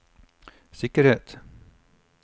sikkerhet